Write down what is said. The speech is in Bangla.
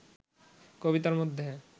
কবিতার মধ্যে